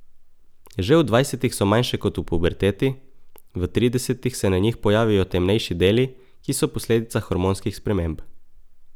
Že v dvajsetih so manjše kot v puberteti, v tridesetih se na njih pojavijo temnejši deli, ki so posledica hormonskih sprememb.